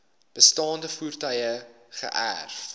bestaande voertuie geërf